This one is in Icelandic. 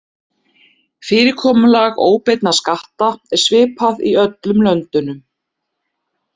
Fyrirkomulag óbeinna skatta er svipað í öllum löndunum.